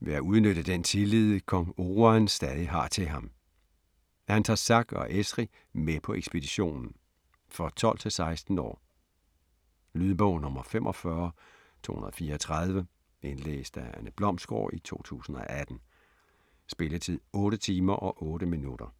ved at udnytte den tillid, kong Oruan stadig har til ham. Han tager Zack og Eshri med på ekspeditionen. For 12-16 år. Lydbog 45234 Indlæst af Anne Blomsgård, 2018. Spilletid: 8 timer, 8 minutter.